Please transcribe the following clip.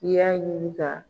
I y'a ɲi ka